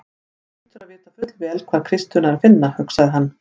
Hún hlýtur að vita fullvel hvar kistuna er að finna, hugsaði hann.